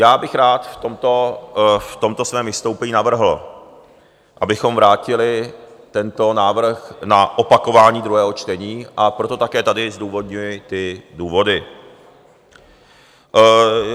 Já bych rád v tomto svém vystoupení navrhl, abychom vrátili tento návrh na opakování druhého čtení, a proto také tady zdůvodňuji ty důvody.